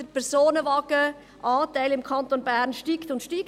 Der Personenwagenanteil im Kanton Bern steigt und steigt.